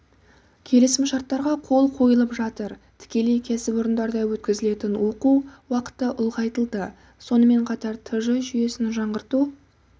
келісімшарттарға қол қойылып жатыр тікелей кәсіпорында өткізілетін оқу уақыты ұлғайтылды сонымен қатар тж жүйесін жаңғырту